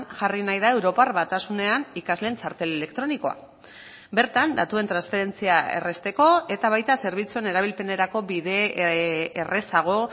jarri nahi da europar batasunean ikasleen txartel elektronikoa bertan datuen transferentzia errazteko eta baita zerbitzuen erabilpenerako bide errazago